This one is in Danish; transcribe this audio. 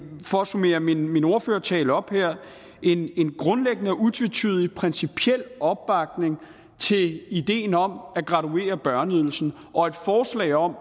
for at summere min min ordførertale op her en grundlæggende og utvetydig principiel opbakning til idéen om at graduere børneydelsen og et forslag om